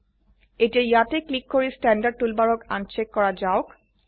এতিয়া ইয়তে ক্লিক কৰি স্ট্যান্ডাৰ্ড টুলবাৰক আনচেক কৰা যাওক